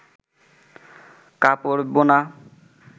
কাপড় বোনা